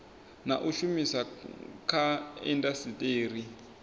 na u shumiswa kha indasiteri